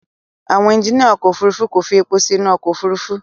Àwọn ẹjiníà ọkọ̀ Òfurufú kò fi èpò sí inú ọkọ̀ Òfurufú.